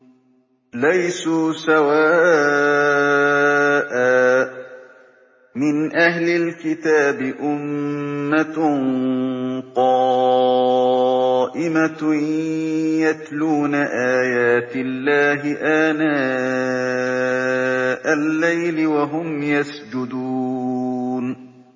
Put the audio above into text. ۞ لَيْسُوا سَوَاءً ۗ مِّنْ أَهْلِ الْكِتَابِ أُمَّةٌ قَائِمَةٌ يَتْلُونَ آيَاتِ اللَّهِ آنَاءَ اللَّيْلِ وَهُمْ يَسْجُدُونَ